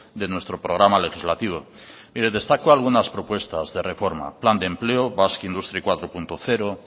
de nuestro programa legislativo mire destaco algunas propuestas de reforma plan de empleo basque industry cuatro punto cero